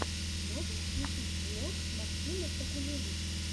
можешь включить влог максима сакулевича